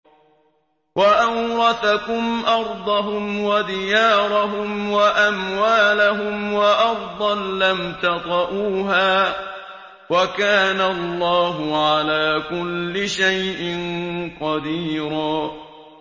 وَأَوْرَثَكُمْ أَرْضَهُمْ وَدِيَارَهُمْ وَأَمْوَالَهُمْ وَأَرْضًا لَّمْ تَطَئُوهَا ۚ وَكَانَ اللَّهُ عَلَىٰ كُلِّ شَيْءٍ قَدِيرًا